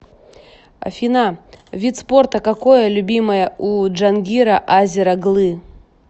афина вид спорта какое любимое у джангира азер оглы